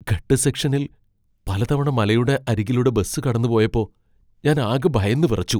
ഘട്ട് സെക്ഷനിൽ പലതവണ മലയുടെ അരികിലൂടെ ബസ് കടന്നുപോയപ്പോ ഞാൻ ആകെ ഭയന്നുവിറച്ചു.